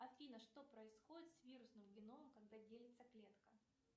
афина что происходит с вирусным геномом когда делится клетка